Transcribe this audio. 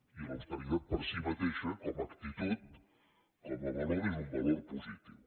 i l’austeritat per si mateixa com actitud com a valor és un valor positiu